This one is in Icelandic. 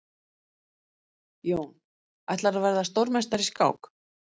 Jón: Ætlarðu að verða stórmeistari í skák?